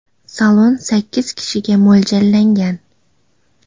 Salon sakkiz kishiga mo‘ljallangan.